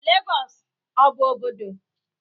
Legosu s ọ bụ obodo?